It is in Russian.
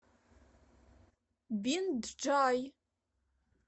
бинджай